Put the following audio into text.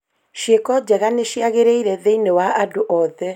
Ciĩko njega nĩ ciagĩrĩire thĩinĩ wa andũ othe